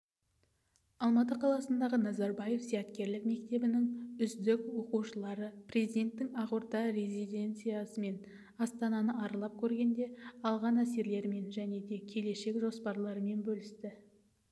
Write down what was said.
алматы қаласындағы назарбаев зияткерлік мектебінің үздік оқушылары президенттің ақорда резиденциясы мен астананы аралап көргенде алған әсерлерімен және келешек жоспарларымен бөлісті